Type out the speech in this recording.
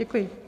Děkuji.